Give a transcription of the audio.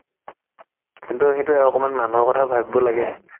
কিন্তু সেইটোয়ে অকমান মানুহৰ কথা ভাবিব লাগে